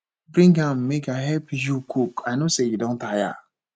bring am make i help you cook i no say you don tire